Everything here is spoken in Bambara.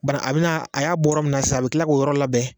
Bari a bina a y'a bɔ yɔrɔ min na san a bi kila k'o yɔrɔ labɛn